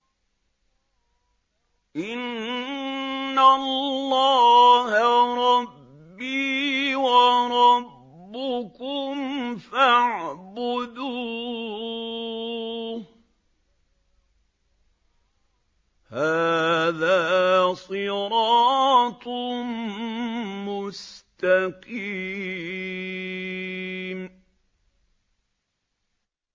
إِنَّ اللَّهَ رَبِّي وَرَبُّكُمْ فَاعْبُدُوهُ ۗ هَٰذَا صِرَاطٌ مُّسْتَقِيمٌ